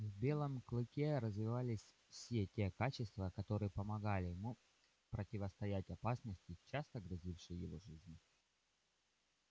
в белом клыке развивались все те качества которые помогали ему противостоять опасности часто грозившей его жизни